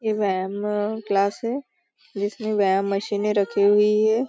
यह व्यायाम क्लास है जिसमें व्यायाम मशीने रखी हुई हैं।